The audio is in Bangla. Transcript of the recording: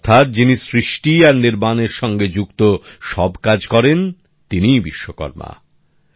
অর্থাৎ যিনি সৃষ্টি আর নির্মাণের সঙ্গে যুক্ত সব কাজ করেন তিনিই বিশ্বকর্মা